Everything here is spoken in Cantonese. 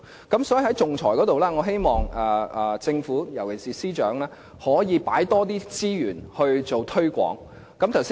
因此，在仲裁方面，我希望政府，由其是司長可以投放更多資源進行推廣工作。